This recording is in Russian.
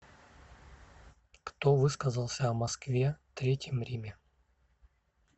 кто высказался о москве третьем риме